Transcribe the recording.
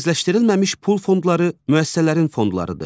Mərkəzləşdirilməmiş pul fondları müəssisələrin fondlarıdır.